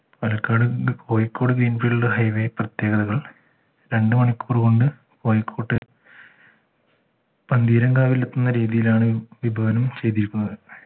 Palakkad Kozhikode green field highway പ്രത്യേകതകൾ രണ്ടുമണിക്കൂർ കൊണ്ട് കോഴിക്കോട്ട് പന്തീരങ്കാവിൽ എത്തുന്ന രീതിയിലാണ് വിഭവനം ചെയ്തിരിക്കുന്നത്